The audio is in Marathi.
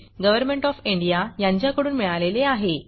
गव्हरमेण्ट ऑफ इंडिया यांच्याकडून मिळालेले आहे